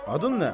Adın nə?